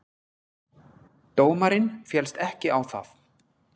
Dómarinn féllst ekki á það.